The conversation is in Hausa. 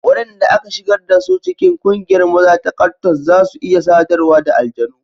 Wadanda aka shigar da su cikin kungiyar maza ta Kwattos za su iya sadarwa da aljanu.